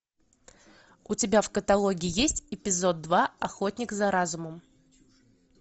у тебя в каталоге есть эпизод два охотник за разумом